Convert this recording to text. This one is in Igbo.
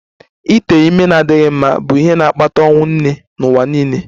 Ite ime na-adịghị mma bụ ihe na-akpata ọnwụ nne n'ụwa niile